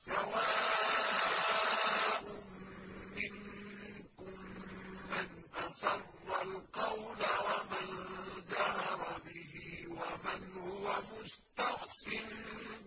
سَوَاءٌ مِّنكُم مَّنْ أَسَرَّ الْقَوْلَ وَمَن جَهَرَ بِهِ وَمَنْ هُوَ مُسْتَخْفٍ